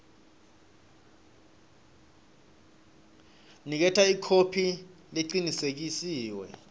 niketa ikhophi lecinisekisiwe